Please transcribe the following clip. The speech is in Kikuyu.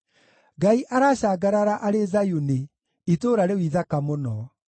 Ngai aracangarara arĩ Zayuni itũũra rĩu ithaka mũno.